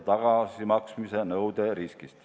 Raha võidakse tagasi nõuda.